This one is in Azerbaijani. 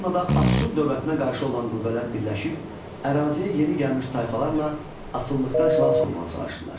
Mannada Asur dövlətinə qarşı olan qüvvələr birləşib əraziyə yeni gəlmiş tayfalarla asılılıqdan xilas olmağa çalışdılar.